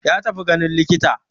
Ya tafi ganin likita.